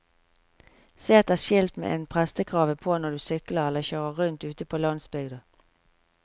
Se etter skilt med en prestekrave på når du sykler eller kjører rundt ute på landsbygda.